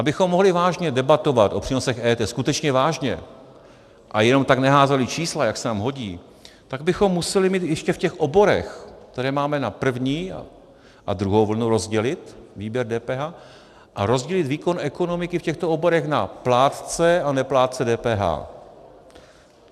Abychom mohli vážně debatovat o přínosech EET, skutečně vážně a jenom tak neházeli čísla, jak se nám hodí, tak bychom museli mít ještě v těch oborech, které máme na první a druhou vlnu, rozdělit výběr DPH a rozdělit výkon ekonomiky v těchto oborech na plátce a neplátce DPH.